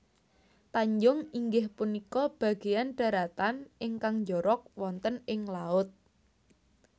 Tanjung inggih punika bagéyan dharatan ingkang njorok wonten ing laut